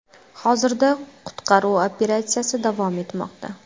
Hozirda qutqaruv operatsiyasi davom etmoqda.